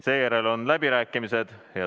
Seejärel on läbirääkimised.